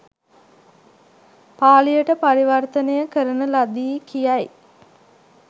පාලියට පරිවර්තනය කරන ලදී.” කියයි